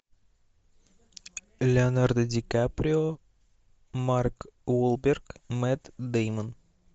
леонардо ди каприо марк уолберг мэтт дэймон